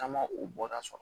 Caman u bɔra so